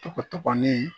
Togo ni